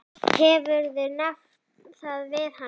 Hefurðu nefnt það við hana?